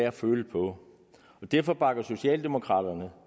at føle på og derfor bakker socialdemokraterne